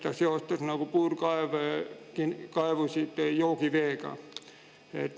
Ta seostas puurkaevusid joogiveega.